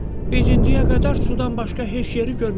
Biz indiyə qədər sudan başqa heç yeri görməmişik.